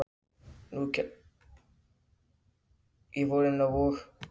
Höfum eitt alveg á hreinu strax